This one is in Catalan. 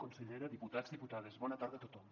consellera diputats diputades bona tarda a tothom